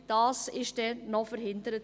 » Dies wurde dann noch verhindert.